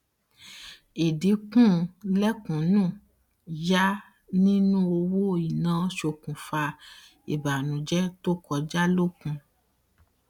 idinku lẹkùnún yá nínú owó ina sokùnfa ìbànújẹ tó kọja lókun